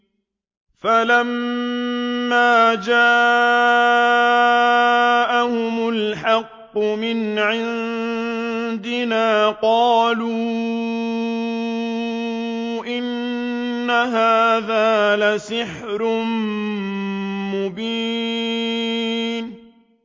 فَلَمَّا جَاءَهُمُ الْحَقُّ مِنْ عِندِنَا قَالُوا إِنَّ هَٰذَا لَسِحْرٌ مُّبِينٌ